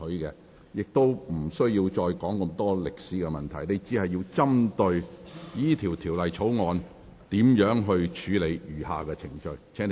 請你不要再長篇論述歷史，而應集中討論如何處理《條例草案》的餘下程序。